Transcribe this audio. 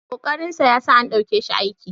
ƙoƙarinsa ya sa an ɗauke shi aiki